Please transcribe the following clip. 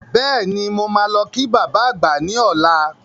Bẹ́ẹ̀ni, mo máa lọ kí baba àgbà ní ọlá.